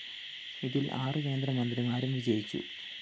ഇതില്‍ ആറു കേന്ദ്രമന്ത്രിമാരും വിജയിച്ചു